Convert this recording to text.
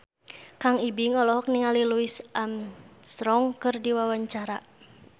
Kang Ibing olohok ningali Louis Armstrong keur diwawancara